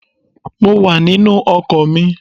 Mo wà nínú ọkọ̀ mi